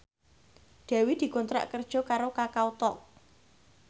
Dewi dikontrak kerja karo Kakao Talk